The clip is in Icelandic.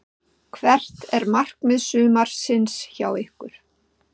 Hvert er markmið sumarsins hjá ykkur?